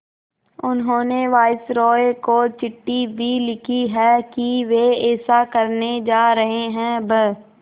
उन्होंने वायसरॉय को चिट्ठी भी लिखी है कि वे ऐसा करने जा रहे हैं ब्